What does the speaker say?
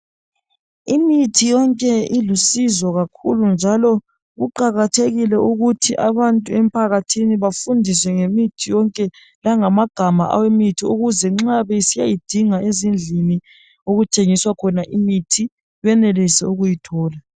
Imithi yonke ilusizo njalo kuqakathekile ukuthi abantu emphakathini bafundiswe ngemithi yonke, langamagama emithi ukuze nxa besiyayidinga ezindlini okuthengiswa khona imithi benelise ukuyithola.